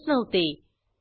सहभागासाठी धन्यवाद